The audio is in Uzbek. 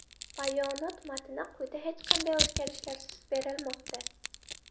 Bayonot matni quyida hech qanday o‘zgarishlarsiz berilmoqda.